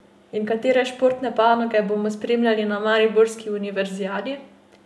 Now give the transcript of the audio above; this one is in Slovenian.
In katere športne panoge bomo spremljali na mariborski univerzijadi?